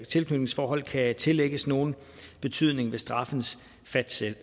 tilknytningsforhold kan tillægges nogen betydning ved straffens